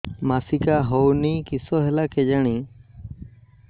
ମାସିକା ହଉନି କିଶ ହେଲା କେଜାଣି